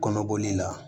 Kɔnɔboli la